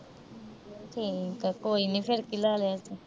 ਠੀਕ ਆ। ਕੋਈ ਨੀ। ਫਿਰ ਕੀ ਲਾ ਲਿਆ ਤਾਂ।